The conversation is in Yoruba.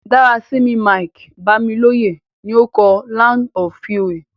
Dárasími Mike-Bámilóyè ni o kọ "Land of Fury".